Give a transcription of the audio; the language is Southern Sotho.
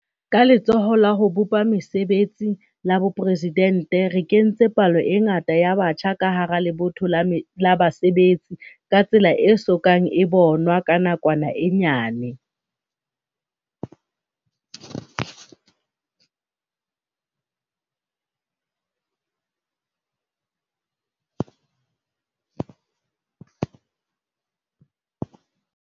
Ka Letsholo la ho bopa Mesebetsi la Boporesidente re kentse palo e ngata ya batjha ka hara lebotho la basebetsi ka tsela e so kang e bonwa ka nakwana e nyane.